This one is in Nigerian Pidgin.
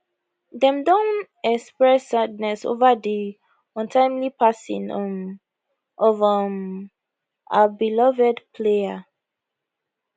dem don express sadness over di untimely passing um of um our beloved player